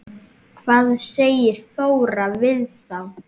Hvað segir Þóra við þá?